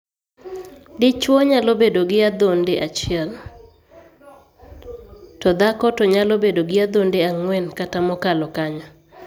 Dichwo nyalo bedo gi adhonde achiel, to dhako to nyalo bedo gi adhonde ang'wen kata mokalo kanyo.